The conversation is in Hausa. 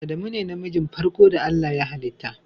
Adamu ne na mijin farko da Allah ya hallita.